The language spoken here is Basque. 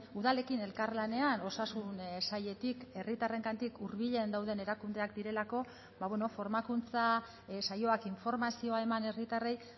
udalekin elkarlanean osasun sailetik herritarrengandik hurbilen dauden erakundeak direlako bueno formakuntza saioak informazioa eman herritarrei